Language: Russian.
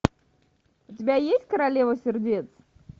у тебя есть королева сердец